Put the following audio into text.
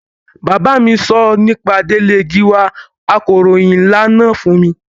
Bàbá mi sọ nípa Délé Gíwá akọ̀ròhìn nlá náà fún mi